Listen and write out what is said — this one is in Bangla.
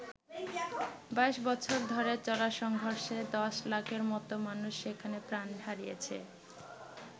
২২ বছর ধরে চলা সংঘর্ষে ১০ লাখের মতো মানুষ সেখানে প্রাণ হারিয়েছে।